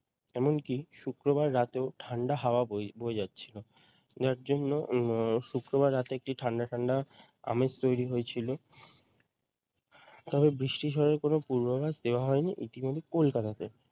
এমনকী শুক্রবার রাতেও ঠান্ডা হাওয়া বয়ে বয়ে যাচ্ছিল যার জন্য উম শুক্রবার রাতে একটু ঠান্ডা ঠান্ডা আমেজ তৈরি হয়েছিল তবে বৃষ্টির হওয়ার কোনও পূর্বাভাস দেওয়া হয়নি ইতিমধ্যে কলকাতাতে